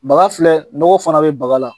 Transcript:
Baga filɛ nɔgɔ fana bɛ baga la